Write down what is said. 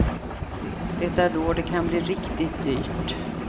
Det är då det kan bli riktigt dyrt.